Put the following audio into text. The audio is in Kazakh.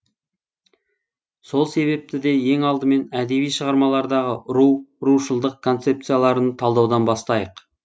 сол себепті де ең алдымен әдеби шығармалардағы ру рушылдық концепцияларын талдаудан бастайық